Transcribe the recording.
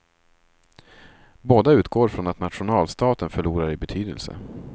Båda utgår ifrån att nationalstaten förlorar i betydelse.